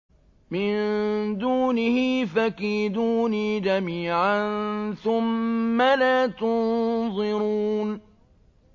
مِن دُونِهِ ۖ فَكِيدُونِي جَمِيعًا ثُمَّ لَا تُنظِرُونِ